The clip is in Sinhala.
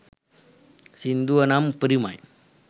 සින්දුව නම් උපරිමයි.